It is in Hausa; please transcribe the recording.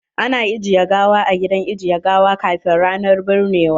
Ana ajiyan gawa a gidan ajiye gawa kafin ranan binnewa.